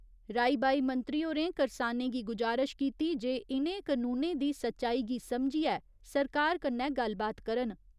राई बाई मंत्री होरें करसानें गी गुजारश कीती जे इ'नें कनूनें दी सच्चाई गी समझियै सरकार कन्नै गल्लबात करन।